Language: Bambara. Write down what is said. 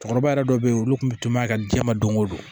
Cɛkɔrɔba yɛrɛ dɔ be yen olu kun be toma a ka diɲɛ ma don o don